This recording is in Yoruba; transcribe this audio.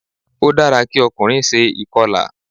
Ó dára kí ọkùnrin se ìkọlà